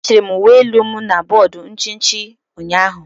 a chiri m uwe elu m na bọọdụ nchichi ụnyaahụ.